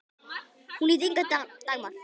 Hún hét Inga Dagmar.